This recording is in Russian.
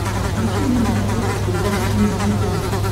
включи мне на смотрешке передачу синергия тв